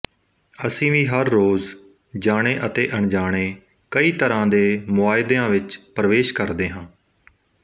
ਅਸੀਂ ਵੀ ਹਰ ਰੋਜ਼ ਜਾਣੇ ਅਤੇ ਅਨਜਾਣੇ ਕਈ ਤਰ੍ਹਾਂ ਦੇ ਮੁਆਇਦੇਆਂ ਵਿੱਚ ਪ੍ਰਵੇਸ਼ ਕਰਦੇ ਹਾਂ